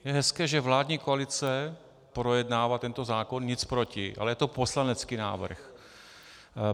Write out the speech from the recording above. Je hezké, že vládní koalice projednává tento zákon, nic proti, ale je to poslanecký návrh.